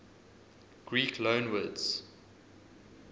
greek loanwords